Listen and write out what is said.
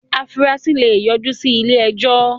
afurasí lè yọ jú sí ilé-ẹjọ́.